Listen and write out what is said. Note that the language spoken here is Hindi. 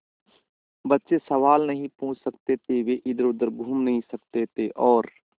बच्चे सवाल नहीं पूछ सकते थे वे इधरउधर घूम नहीं सकते थे और